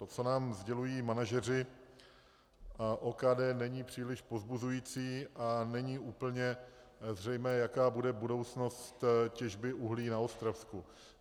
To, co nám sdělují manažeři a OKD, není příliš povzbuzující a není úplně zřejmé, jaká bude budoucnost těžby uhlí na Ostravsku.